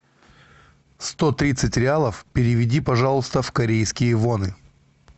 сто тридцать реалов переведи пожалуйста в корейские воны